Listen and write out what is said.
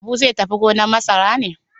Habu zai tafi gonar masara ne?